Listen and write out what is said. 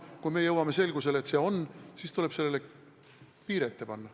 Kui me jõuame selgusele, et see on, siis tuleb sellele piir ette panna.